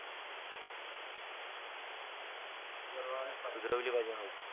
सुधरावलेच पाहिजे.